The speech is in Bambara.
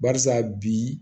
Barisa bi